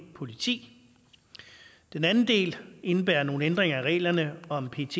politi den anden del indebærer nogle ændringer af reglerne om pets